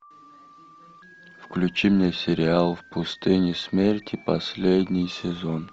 включи мне сериал в пустыне смерти последний сезон